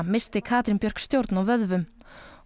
missti Katrín Björk stjórn á vöðvum